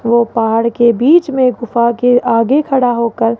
वो पहाड़ के बीच में गुफा के आगे खड़ा होकर--